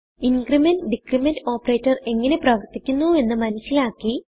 increment decrement operatorഎങ്ങനെ പ്രവർത്തിക്കുന്നു എന്ന് മനസിലാക്കി